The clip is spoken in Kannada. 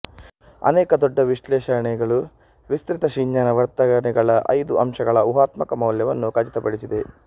ಅನೇಕ ದೊಡ್ಡ ವಿಶ್ಲೇಷಣೆಗಳು ವಿಸ್ತೃತ ಶೀಂಜನ ವರ್ತನೆಗಳ ಐದು ಅಂಶಗಳ ಊಹಾತ್ಮಕ ಮೌಲ್ಯವನ್ನು ಖಚಿತಪಡಿಸಿದೆ